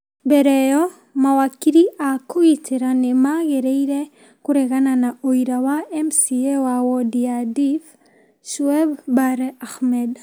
Mbere ĩyo, mawakiri a kũgitĩra nĩ maageririe kũregana na ũira wa MCA wa wondi ya Diff, Shueb Bare Ahmed,